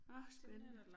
Nåh spændende